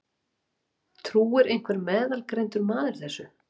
Trúir einhver meðalgreindur maður þessu?